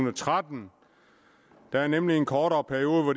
og tretten der er nemlig en kortere periode hvor